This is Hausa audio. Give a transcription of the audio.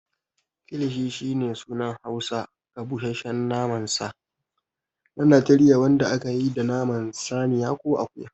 Kilishi shine sunan Hausa ga busasshen naman sa na Najeriya wanda ake yi da naman saniya ko akuya.